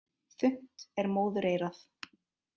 Þunnt er móðureyrað.